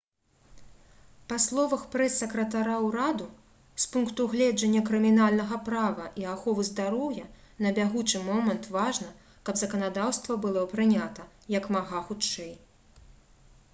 па словах прэс-сакратара ўраду «з пункту гледжання крымінальнага права і аховы здароўя на бягучы момант важна каб заканадаўства было прынята як мага хутчэй»